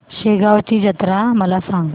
शेगांवची जत्रा मला सांग